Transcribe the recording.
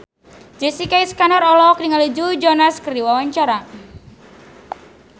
Jessica Iskandar olohok ningali Joe Jonas keur diwawancara